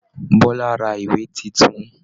Bọla rà ìwé títún.